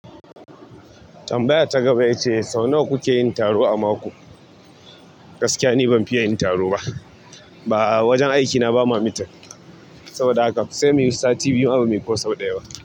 Tambayar ta gaba ita ce sau nawa kuke yin taro a mako? Gaskiya ni ban fiya yin taro ba. Ba wajen aikina ba ma mitin saboda haka sai muyi sati biyu ma bamuyi ko sau ɗaya ba.